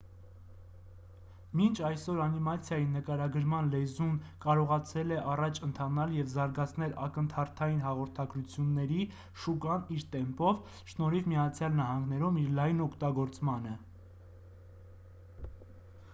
մինչ այսօր անիմացիայի նկարագրման լեզուն կարողացել է առաջ ընթանալ և զարգացնել ակնթարթային հաղորդագրությունների շուկան իր տեմպով շնորհիվ միացյալ նահանգներում իր լայն օգտագործմանը